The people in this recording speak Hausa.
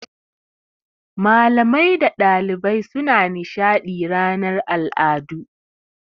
Malamai da ɗalibai suna nishaɗi ranar al'adu.